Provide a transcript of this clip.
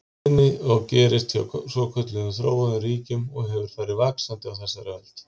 tíðni og gerist hjá svokölluðum þróuðum ríkjum og hefur farið vaxandi á þessari öld.